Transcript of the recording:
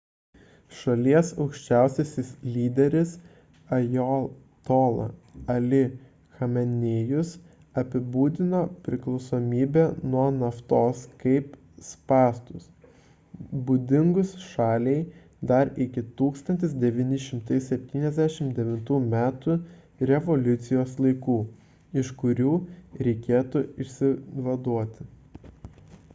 šalies aukščiausiasis lyderis ajatola ali chamenėjus apibūdino priklausomybę nuo naftos kaip spąstus būdingus šaliai dar iki 1979 m revoliucijos laikų iš kurių reikėtų išsivaduoti